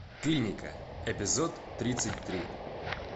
клиника эпизод тридцать три